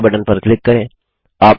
अब okay button पर click करें